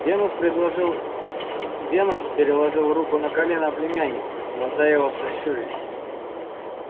венус предложил венус переложил руку на колено племянника и глаза его сощурились